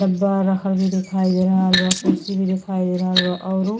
डब्बा रखल भी दिखाई दे रहल बा। कुर्सी भी दिखाई दे रहल बा औरु --